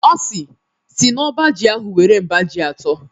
Ọ sị, “Sii n’ọba ji ahụ were mba ji atọ"